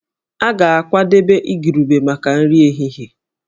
A ga-akwadebe igurube maka nri ehihie